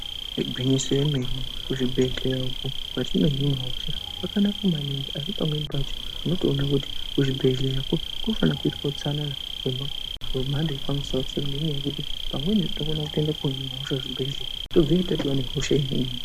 Igwinyiso yemene kuchibhedhlera uko kwatinohinwa hosha kwakanaka maningi asi pamweni pacho unotoona kuti kuchibhedhleyako kunofana kuitwa utsanana hwemhando yepamusoro-soro ngendaa yekuti pamweni tokona kuohinwa hosha kuchibheya, tobveyo yatova nehosha imweni.